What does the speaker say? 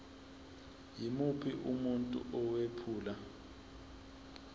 yimuphi umuntu owephula